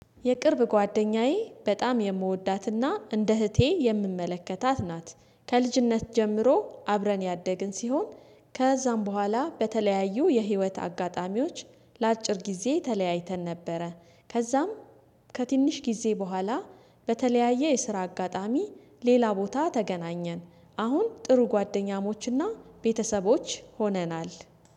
የቅርብ ጓደኛዬ በጣም የምወዳትና እንደ እህቴ የምመለከታት ናት። ከልጅነት ጀምሮ አብረን ያደግን ሲሆን ከዛም በኋላ በተለያዩ የህይወት አጋጣሚዎች ለአጭር ጊዜ ተለያይተን ነበረ። ከዛም ከትንሽ ጊዜ በኋላ በተለያየ የስራ አጋጣሚ ሌላ ቦታ ተገናኘን። አሁን ጥሩ ጓደኛሞችና ቤተሰቦች ሆነናል